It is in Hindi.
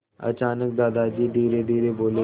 अचानक दादाजी धीरेधीरे बोले